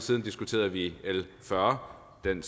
siden diskuterede vi l fyrre den